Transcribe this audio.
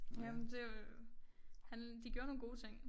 Jamen det jo han de gjorde nogle gode ting